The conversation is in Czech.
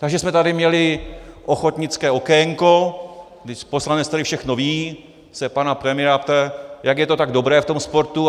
Takže jsme tady měli ochotnické okénko, kdy poslanec, který všechno ví, se pana premiéra ptá, jak je to tak dobré v tom sportu.